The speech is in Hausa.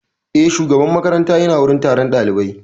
Eh, shugaban makaranta ya na wurin taron ɗaliban